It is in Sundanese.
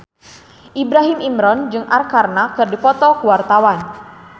Ibrahim Imran jeung Arkarna keur dipoto ku wartawan